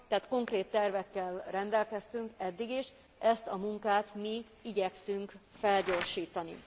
Tehát konkrét tervekkel rendelkeztünk eddig is, ezt a munkát mi igyekszünk felgyorsítani.